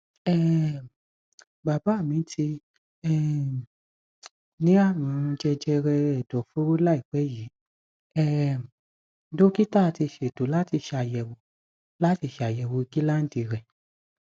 um bàbá mi ti um ní àrùnjẹjẹrẹ ẹdọfóró láìpẹ yìí um dókítà ti ṣètò láti ṣàyẹwò láti ṣàyẹwò gíláǹdì rẹ